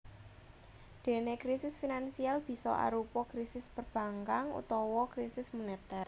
Déné krisis finansial bisa arupa krisis perbankan utawa krisis monetèr